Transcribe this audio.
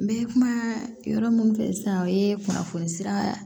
N bɛ kuma yɔrɔ min fɛ sisan o ye kunnafoni sira